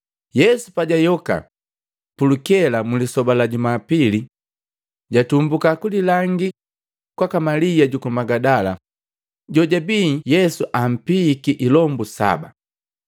Yesu pajayoka pulukela mlisoba la Jumapili, jatumbuka kulilangii kwaka Malia juku Magidala, jojabii Yesu ampiiki ilombu saba.